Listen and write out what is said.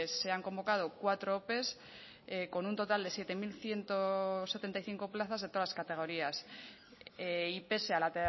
se han convocado cuatro ope con un total de siete mil ciento setenta y cinco plazas de todas las categorías y pese a la